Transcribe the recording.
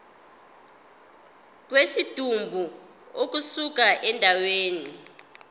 kwesidumbu ukusuka endaweni